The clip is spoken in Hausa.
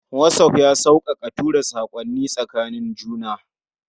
WhatsApp ya sauƙaƙa tura saƙonnin tsakanin juna.